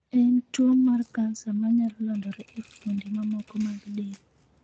En tuwo mar kansa manyalo landore e fuonde mamoko mag del.